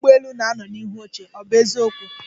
Ọkwọ́ ụgbọelu na-anọ n'ihu oche, ọ bụ eziokwu?